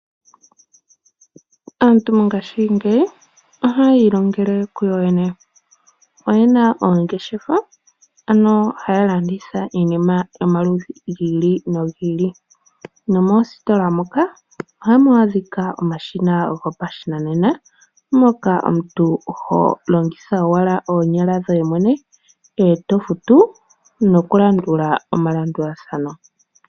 Aantu mongashingeyi oha yiilongele ku yoyene, oyena oongeshefa haya landitha iinima yomaludhi ogendji. Moositola moka ohamu adhika omashina gopashinanena mpoka omuntu toyi wukadhenge iinima yoye gweye mwene to landula omalombwelo.